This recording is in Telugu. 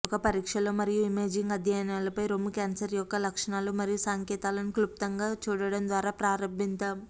ఒక పరీక్షలో మరియు ఇమేజింగ్ అధ్యయనాలపై రొమ్ము క్యాన్సర్ యొక్క లక్షణాలు మరియు సంకేతాలను క్లుప్తంగా చూడటం ద్వారా ప్రారంభిద్దాం